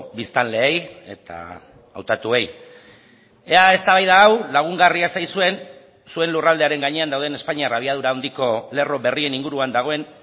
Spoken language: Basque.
biztanleei eta hautatuei ea eztabaida hau lagungarria zaizuen zuen lurraldearen gainean dauden espainiar abiadura handiko lerro berrien inguruan dagoen